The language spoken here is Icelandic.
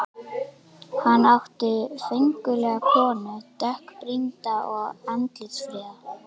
Hann átti föngulega konu, dökkbrýnda og andlitsfríða.